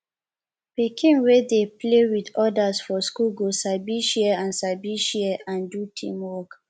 pikin wey dey play with others for school go sabi share and sabi share and do teamwork